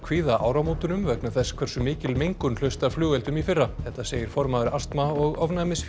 kvíða áramótunum vegna þess hversu mikil mengun hlaust af flugeldum í fyrra þetta segir formaður astma og